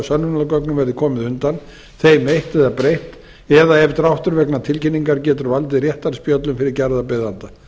sönnunargögnum verði komið undan þeim eytt eða breytt eða ef dráttur vegna tilkynningar getur valdið réttarspjöllum fyrir gerðarbeiðanda